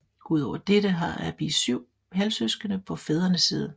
Ud over dette har Abiy syv halvsøskende på fædrende side